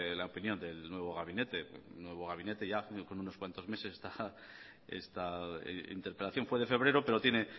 la opinión del nuevo gabinete nuevo gabinete ya con unos cuantos meses esta interpelación fue de febrero pero tiene